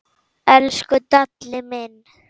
Og ekkert símaat.